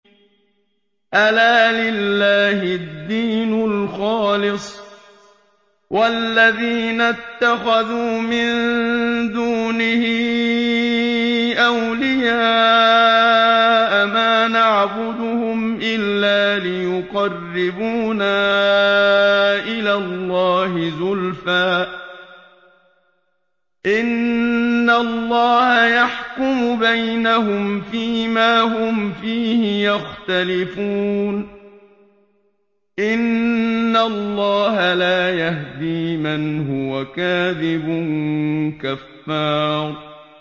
أَلَا لِلَّهِ الدِّينُ الْخَالِصُ ۚ وَالَّذِينَ اتَّخَذُوا مِن دُونِهِ أَوْلِيَاءَ مَا نَعْبُدُهُمْ إِلَّا لِيُقَرِّبُونَا إِلَى اللَّهِ زُلْفَىٰ إِنَّ اللَّهَ يَحْكُمُ بَيْنَهُمْ فِي مَا هُمْ فِيهِ يَخْتَلِفُونَ ۗ إِنَّ اللَّهَ لَا يَهْدِي مَنْ هُوَ كَاذِبٌ كَفَّارٌ